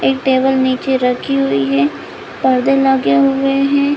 एक टेबल नीचे रखी हुई हैं परदे लगे हुए हैं ।